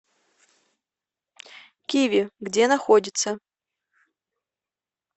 киви где находится